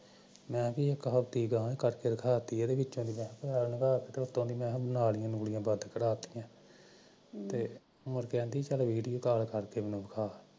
ਮੈਂ ਵੀ ਕਿਹਾ ਇੱਕ ਹਫਤੇ ਗਾਂਹ ਕਰਕੇ ਦਿਖਾ ਤੀ ਆ ਇਹਦੇ ਵਿੱਚੋਂ ਨਾਲੀਆਂ ਨੁਲੀਆਂ ਬੰਦ ਕਰਵਾ ਤੀਆਂ ਤੇ ਮੁੜ ਕੇ ਕਹਣਦੀ ਵਿਡੀਉ ਕਾਲ ਕਰ ਕੇ ਦਿਖਾ